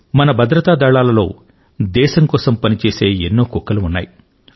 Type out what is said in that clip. మన భద్రత దళాలలో దేశం కోసం పని చేసే ఎన్నో కుక్కలు ఉన్నాయి